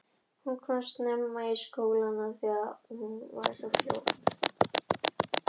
Hún komst snemma að því að auðveldara var að búa í heimi pabba.